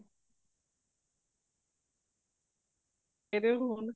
ਕਿਦੇ ਕੋਲ ਹੋਣ